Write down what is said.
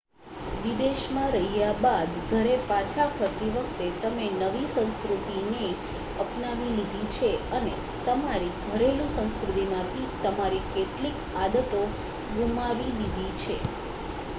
વિદેશમાં રહ્યા બાદ ઘરે પાછા ફરતી વખતે તમે નવી સંસ્કૃતિને અપનાવી લીધી છે અને તમારી ઘરેલુ સંસ્કૃતિમાંથી તમારી કેટલીક આદતો ગુમાવી દીધી છે